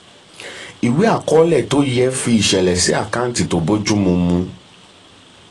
ìwé àkọọlẹ tó yẹ fi ìṣẹ̀lẹ̀ sí àkáǹtì tó bójú mu. mu.